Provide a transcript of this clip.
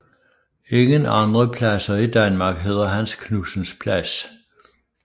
Ingen andre pladser i Danmark hedder Hans Knudsens Plads